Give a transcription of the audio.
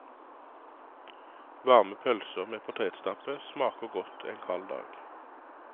Varme pølser med potetstappe smaker godt en kald dag.